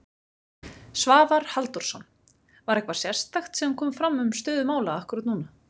Svavar Halldórsson: Var eitthvað sérstakt sem kom fram um stöðu mála akkúrat núna?